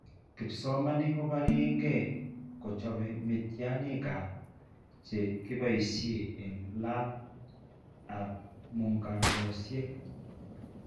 Kipsomaniik ko barieke ko chop miitiyaaniinikap che kiboisie eng' labap mungarosiek.